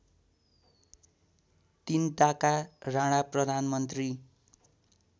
तिनताका राणा प्रधानमन्त्री